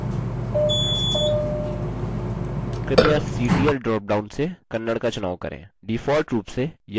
कृपया ctl dropdown से kannada का चुनाव करें